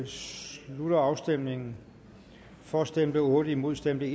slutter afstemningen for stemte otte imod stemte